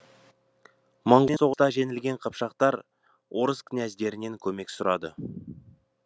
моңғолдармен соғыста жеңілген қыпшақтар орыс князьдерінен көмек сұрады